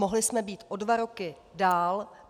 Mohli jsme být o dva roky dál.